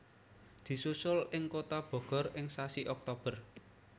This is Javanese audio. Disusul ing kutha Bogor ing sasi Oktober